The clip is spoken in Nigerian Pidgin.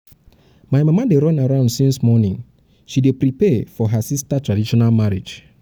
my mama dey run around since morning she dey prepare for her sister traditional marriage